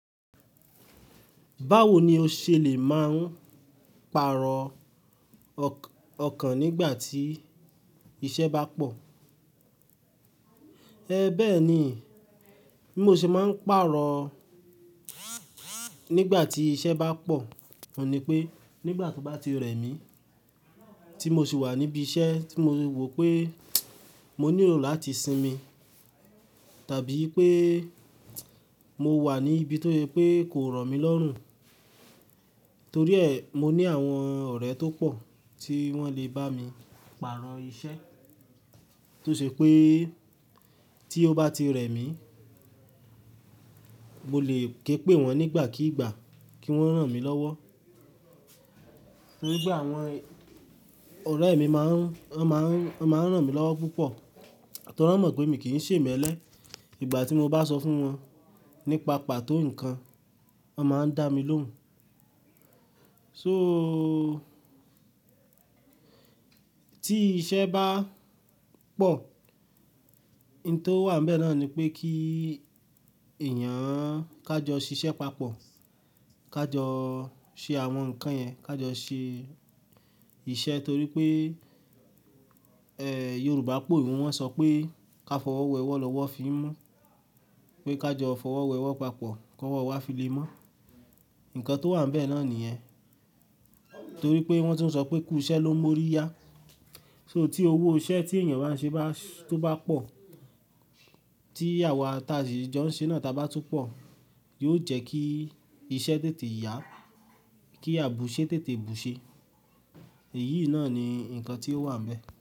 Báwo ni o ṣe lè máa ń pàrọ̀ ọkàn nígbà tí iṣẹ́ bá pọ̀? Ẹ bẹ́ẹ̀ ni, bí mo ṣe máa ń pàrọ̀ nígbà tí iṣẹ́ bá pọ̀, òun ni pé nígbà tó bá ti rẹ̀ mí, tí mo sì wà níbi iṣẹ́ tí mo wò pé mo nílò láti sinmi, tàbí pé mo wà ní ibi tó ṣe pé kò rọ̀ mí lọ́rùn, torí ẹ, mo ní àwọn ọ̀rẹ́ tó pọ̀ tí wọ́n lè bá mi pàrọ̀ iṣẹ́. Tó ṣe pé tí ó bá ti rẹ̀ mí, mo lè ké pé wọ́n nígbàkígbà kí wọ́n ran mí lọ́wọ́. Torí pé àwọn ọ̀rẹ́ mi máa ń, wọn máa ń, wọn máa ń ràn mí lọ́wọ́ púpọ̀. Torí wọ́n mọ̀ pé mi kì í ṣe ìmẹ́lẹ́. Ìgbà tí mo bá sọ fún wọn nípa pàtó nǹkan, wọ́n máa ń dá mi lóhùn. So, tí iṣẹ́ bá pọ̀, ohun tó wà níbẹ̀ náà ni pé kí èèyàn ká jọ ṣiṣẹ́ papọ̀, ká jọ ṣe àwọn nǹkan yẹn, ká jọ ṣe iṣẹ́ torí pé, Yorùbá po we, wọ́n sọ pé "ká fọwọ́ wẹ ọwọ́ lọ́wọ́ fi mọ́", pé ká jọ fọwọ́ wẹ ọwọ́ papọ̀, kó wọ́ wá fi lé mọ́. Ǹkan tó wà níbẹ̀ náà nìyẹn. Torí pé wọ́n tún sọ pé "kú isẹ́ ló ń mú orí yá". So tí owó isẹ́ tí èèyàn bá ṣe bá, tó bá pọ̀, tí àwa ta sì jọ ń ṣe náà ta bá tún pọ̀, yóò jẹ́ kí iṣẹ́ tètè yá, kí àbùṣé tètè bùṣe. Èyí náà ni ǹkan tí ó wà níbẹ̀